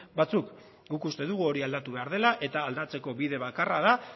batzuk guk uste dugu hori aldatu behar dela eta aldatzeko bide bakarra da